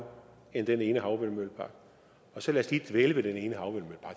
end den ene havvindmøllepark og så lad os lige dvæle